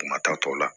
Kuma ta tɔ la